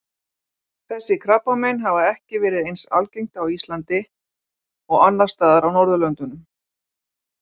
Þessi krabbamein hafa ekki verið eins algengt á Íslandi og annars staðar á Norðurlöndunum.